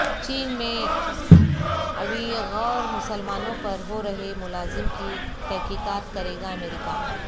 چین میں اویغور مسلمانوں پر ہو رہے مظالم کی تحقیقات کرے گا امریکہ